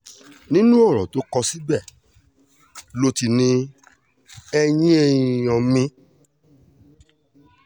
nínú ọ̀rọ̀ tó kọ síbẹ̀ ló ti ní ẹ̀yin èèyàn mi